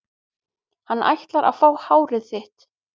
Hann ætlar að fá hárið þitt.